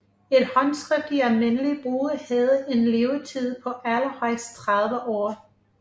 Et håndskrift i almindelig brug havde en levetid på allerhøjst 30 år